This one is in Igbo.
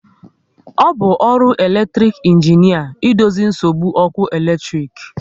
Ọ bụ ọrụ elektic injinia idozi nsogbu ọkụ eletrik